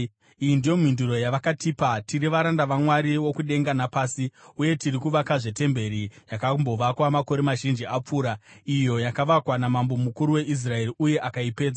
Iyi ndiyo mhinduro yavakatipa: “Tiri varanda vaMwari wokudenga napasi, uye tiri kuvakazve temberi yakambovakwa makore mazhinji akapfuura, iyo yakavakwa namambo mukuru weIsraeri uye akaipedza.